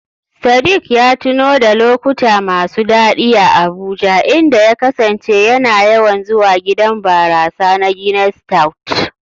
Sadik ya tuno da lokuta masu daɗi a Abuja, inda ya kasance yana yawan zuwa gidan barasa na "Guinness stout".